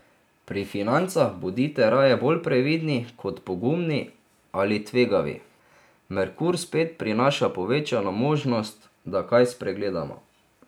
Pri financah bodite raje bolj previdni kot pogumni ali tvegavi, Merkur spet prinaša povečano možnost, da kaj spregledamo.